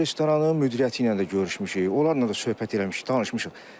O restoranın müdiriyyəti ilə də görüşmüşük, onlarla da söhbət eləmişik, danışmışıq.